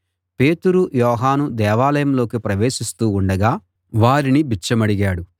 పేతురు యోహాను దేవాలయంలోకి ప్రవేశిస్తూ ఉండగా వారిని బిచ్చమడిగాడు